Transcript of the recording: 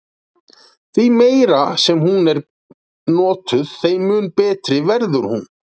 Því meira sem hún er notuð þeim mun betri verður hún.